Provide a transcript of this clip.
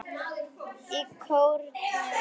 Í kórnum var